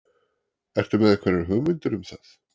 Ertu með einhverjar hugmyndir um það?